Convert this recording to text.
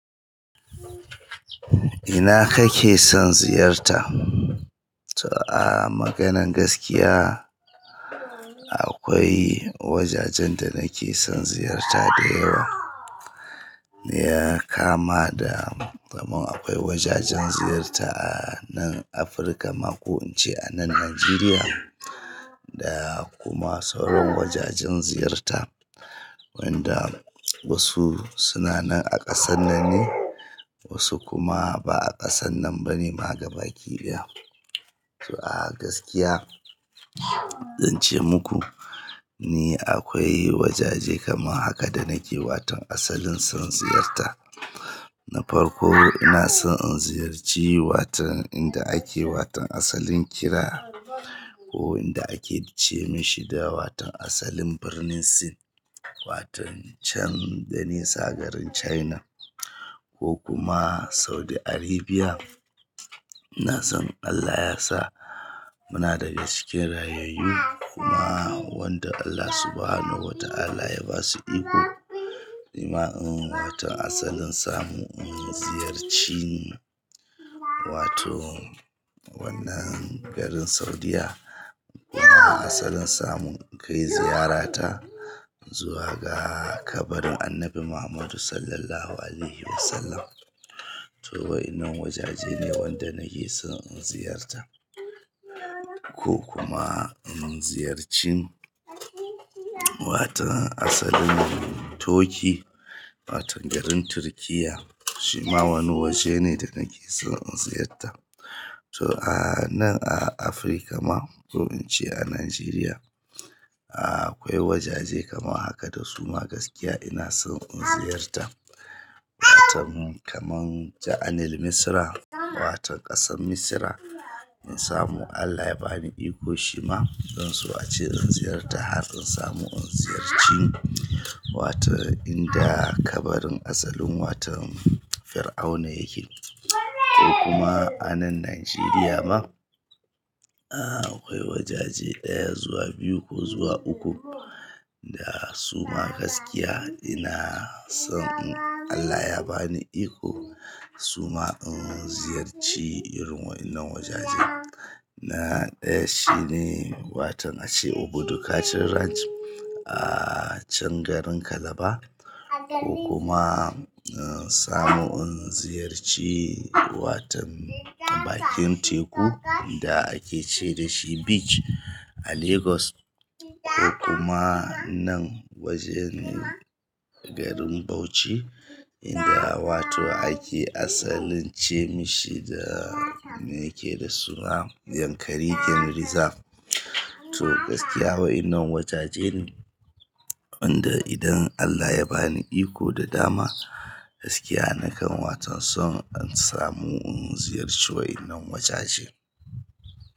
Ina kake son ziyarta? To, a maganan gaskiya akwai wajajen da nake son ziyarta da yawa. Ni ya kama da, kamar akwai wajajen ziyarta a nan Afirka ma, ko in ce a nan Najeriya da kuma sauran wajajen ziyarta wanda wasu suna nan a ƙasan nan ne wasu kuma ba a ƙasan nan ba ne, ma gaba ki ɗaya. To a gaskiya, zan ce muku ni akwai wajaje kamar haka da nake watan asalin son ziyarta. Na farko ina son in ziyarci watan inda ake watan asalin kira ko inda ake ce mi shi da watan asalin birnin Sin, watan chan da nisa garin China ko kuma Saudi Arabia. Ina son Allah yasa muna daga cikin rayayyu kuma wanda Allah subhanahu wataala ya ba su iko, nima in watan asalin samu in ziyarci wato wannan garin Saudiyya. Kuma asalin samu in kai ziyarata zuwa ga kabarin Annabi Muhammadu Sallallahu Alaihi Wasallam. To wa'inan wajaje ne wanda nake son in ziyarta. Ko kuma in ziyarci watan asalin Turkey, watan garin Turkiyya shima wani waje ne da nake son in ziyarta. To a nan a Afirka ma, ko in ce a Najeriya, akwai wajaje kamar haka da suma gaskiya ina son in ziyarta. Watan kamar Jaanil Misra, watan ƙasan Misra in samu Allah ya bani iko shima zan so a ce in ziyarta har in samu in ziyarci watan inda kabarin asalin watan firauna yake. Ko kuma a nan Najeriya ma, akwai wajaje ɗaya zuwa biyu ko zuwa uku da suma gaskiya ina son in Allah ya bani iko suma in ziyarci wa'inan wajaje. Na ɗaya shine watan a ce Obudu Cattle Ranch a can garin Calabar ko kuma in samu in ziyarci watan bakin teku inda ake ce da shi beach a Lagos ko kuma nan wajen ne garin Bauchi inda wato ake asalin ce mai shi da me yake da suna Yankari Game Reserve. To gaskiya wa'inan wajaje ne, wanda idan Allah ya bani iko da dama gaskiya nakan watan son in samu in ziyarci wa'inan wajaje.